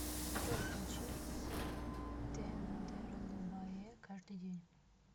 джой включи тендерлубае каждый день